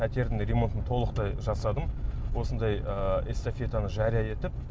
пәтердің де ремонтын толықтай жасадым осындай ыыы эстафетаны жария етіп